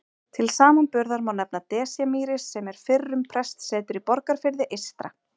Til samanburðar má nefna Desjarmýri sem er fyrrum prestsetur í Borgarfirði eystra.